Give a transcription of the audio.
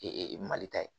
mali ta ye